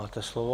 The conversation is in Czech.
Máte slovo.